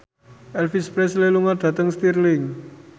Elvis Presley lunga dhateng Stirling